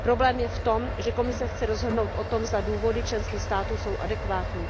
Problém je v tom, že Komise chce rozhodnout o tom, zda důvody členských států jsou adekvátní.